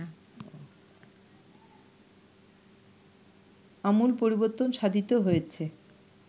আমূল পরিবর্তন সাধিত হয়েছে